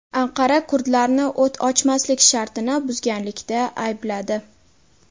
Anqara kurdlarni o‘t ochmaslik shartini buzganlikda aybladi.